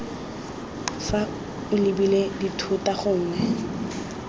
fa o lebile dithota gongwe